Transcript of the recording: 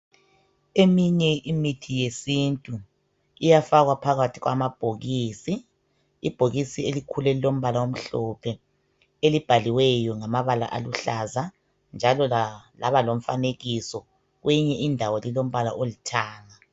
Eminye imithi yesintu iyafakwa phakathi kwamabhokisi .Ibhokisi elikhulu elilombala omhlophe elibhaliweyo ngamabala aluhlaza njalo laba lomfanekiso .Kweyinye indawo lilombala olithanga .